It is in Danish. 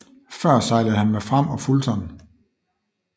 Før sejlede han med Fram og Fulton